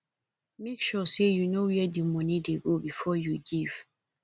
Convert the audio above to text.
make sure say you know where di money de go before you give